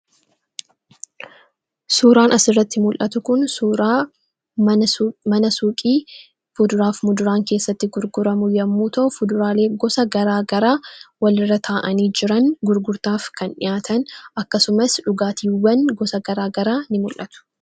Suuraan asirratti mul'atu Kun suura mana suuqii kuduraa fi muduraan keessatti gurguramu yemmuu ta'u kuduraaleen gosa garagaraa walirraa taa'anii jiran gurgurtaaf kan taa'an akkasumas dhugaatiin gosa garagaraa ni mul'atu.